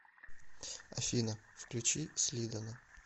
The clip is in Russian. афина включи слидана